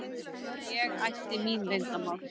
Og ég ætti mín leyndarmál.